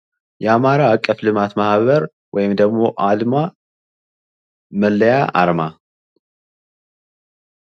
አርማዎች በትንንሽና በትላልቅ መጠኖች እንዲሁም በተለያዩ ሚዲያዎች ላይ በግልጽ መታየት መቻል አለባቸው።